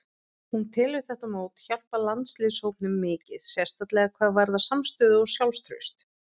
Hún telur þetta mót hjálpa landsliðshópnum mikið, sérstaklega hvað varðar samstöðu og sjálfstraust.